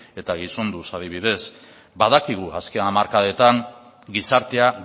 eta gizonduz adibidez badakigu azken hamarkadetan gizartea